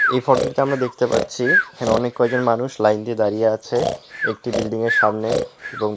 এ ফটোটিতে আমরা দেখতে পাচ্ছি এখানে অনেক কয়জন মানুষ লাইন দিয়ে দাঁড়িয়ে আছে একটি বিল্ডিং এর সামনে এবং --